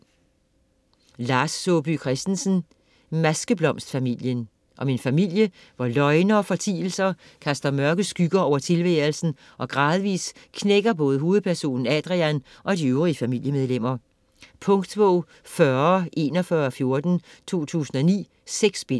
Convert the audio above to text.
Christensen, Lars Saabye: Maskeblomstfamilien Om en familie hvor løgne og fortielser kaster mørke skygger over tilværelsen og gradvis knækker både hovedpersonen Adrian og de øvrige familiemedlemmer. Punktbog 404114 2009. 6 bind.